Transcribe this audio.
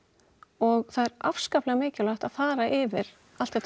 og það er afskaplega mikilvægt að fara yfir allt þetta